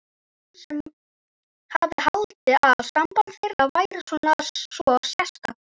Hann sem hafði haldið að samband þeirra væri svo sérstakt.